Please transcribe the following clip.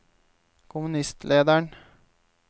kommunistlederen